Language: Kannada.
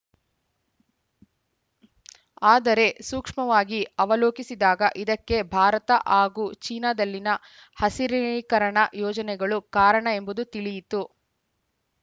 ಆದರೆ ಸೂಕ್ಷ್ಮವಾಗಿ ಅವಲೋಕಿಸಿದಾಗ ಇದಕ್ಕೆ ಭಾರತ ಹಾಗೂ ಚೀನಾದಲ್ಲಿನ ಹಸಿರೀಕರಣ ಯೋಜನೆಗಳು ಕಾರಣ ಎಂಬುದು ತಿಳಿಯಿತು